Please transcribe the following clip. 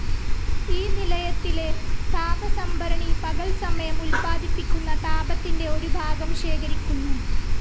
ഈ നിലയത്തിലെ താപസംഭരണി പകൽസമയം ഉൽപ്പാദിപ്പിക്കുന്ന താപത്തിന്റെ ഒരുഭാഗം ശേഖരിക്കുന്നു.